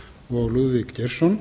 og lúðvík geirsson